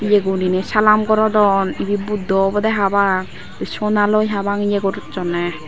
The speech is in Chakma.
ye guriney salaam gorodon ebey buddho obodey habang sonaloi habang eyeh gorsonney.